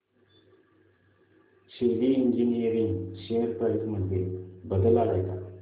शेली engineering share price मध्ये बदल आलाय का